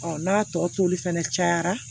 n'a tɔ toli fɛnɛ cayara